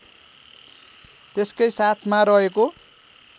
त्यसकै साथमा रहेको